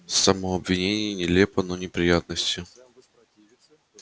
само обвинение нелепо но неприятности